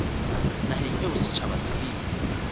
naheng eo setjhaba se e